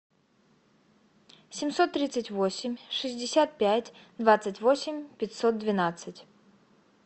семьсот тридцать восемь шестьдесят пять двадцать восемь пятьсот двенадцать